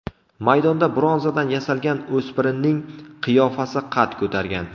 Maydonda bronzadan yasalgan o‘spirinning qiyofasi qad ko‘targan.